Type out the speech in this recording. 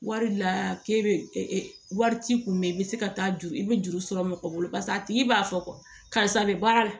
Wari la k'e bɛ wari t'i kun mɛn i bɛ se ka taa juru i bɛ juru sɔrɔ mɔgɔ bolo paseke a tigi b'a fɔ karisa bɛ baara la